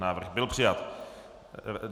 Návrh byl přijat.